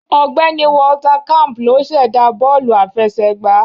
Ọ̀gbẹ́ni Walter camp ló sẹ̀dá bọ́ọ̀lù àfẹsẹ̀gbá